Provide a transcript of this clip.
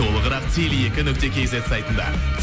толығырақ теле екі нүкте кейзет сайтында